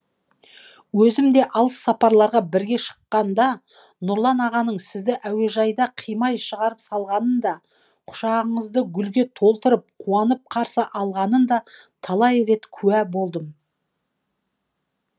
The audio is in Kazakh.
өзім де алыс сапарларға бірге шыққанда нұрлан ағаның сізді әуежайда қимай шығарып салғанына да құшағыңызды гүлге толтырып қуанып қарсы алғанына да талай рет куә болдым